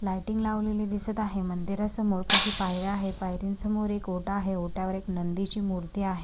Lighting लावलेली दिसत आहे मंदीरा समोर काही पायऱ्या आहे पायरी समोर एक ओटा आहे ओट्यावर एक नंदी ची मूर्ती आहे.